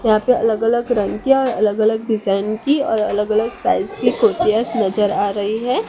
यहां पे अलग अलग रंग की और अलग अलग डिजाइन की और अलग अलग साइज की कुर्तियास नजर आ रही हैं।